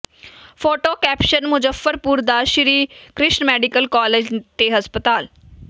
photo caption Muzaffarpur ਦਾ Shri Krishna medical college ਤੇ ਹਸਪਤਾਲ